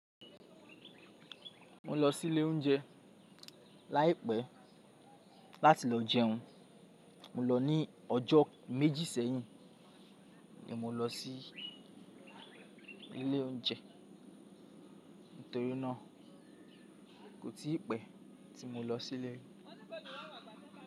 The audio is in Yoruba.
Mo lọ sí ilé oúnjẹ láìpẹ́ láti lọ jẹun. Mo lọ ní ọjọ́ méjì sẹ́yìn ni mo lọ sí ilé oúnjẹ nítorí náà kò tí pẹ́ tí mo lọ sí ilé.